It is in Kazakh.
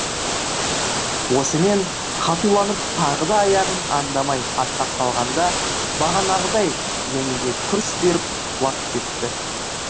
осымен қатуланып тағы да аяғын андамай аттап қалғанда бағанағыдай және де күрс беріп құлап кетті